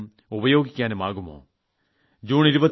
ഞാൻ ഇത്തവണ ചണ്ഡിഗഡിലെ പരിപാടിയിൽ പങ്കെടുക്കാൻ പോകുന്നുണ്ട്